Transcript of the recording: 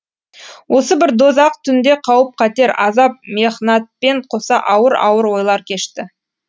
осы бір дозақ түнде қауіп қатер азап мехнатпен қоса ауыр ауыр ойлар кешті